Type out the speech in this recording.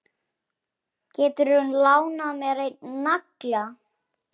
Geturðu lánað mér einn nagla.